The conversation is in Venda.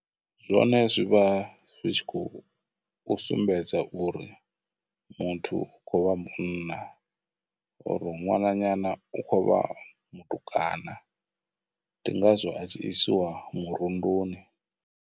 Zwone zwivha zwi tshi khou sumbedza uri muthu u khou vha munna, uri u ṅwananyana u khou vha mutukana, ndi ngazwo a tshi isiwa murunduni.